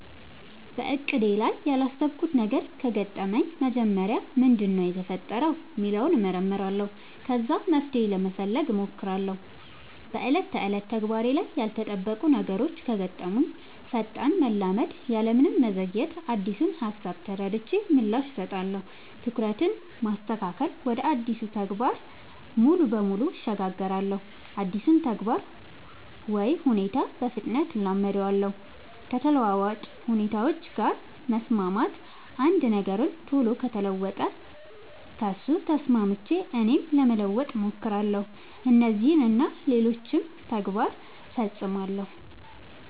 በእቅዴ ላይ ያላሰብኩት ነገር ከገጠመኝ መጀመሪያ ምንድነው የተፈጠረው ሚለውን እመረምራለሁ ከዛ መፍትሄ ለመፈለግ ሞክራለው በ ዕለት ተዕለት ተግባሬ ላይ ያልተጠበቁ ነገሮች ከገጠሙኝ ፈጣን መላመድ ያለምንም መዘግየት አዲሱን ሃሳብ ተረድቼ ምላሽ እሰጣለሁ። ትኩረትን ማስተካከል ወደ አዲሱ ተግባር ሙሉ በሙሉ እሸጋገራለሁ አዲሱን ተግባር ወይ ሁኔታ በፍጥነት እላመዳለው። ከተለዋዋጭ ሁኔታዎች ጋር መስማማት አንድ ነገር ቶሎ ከተለወጠ ከሱ ተስማምቼ እኔም ለመለወጥ ሞክራለው። እነዚህን እና ሌሎችም ተግባር ፈፅማለው።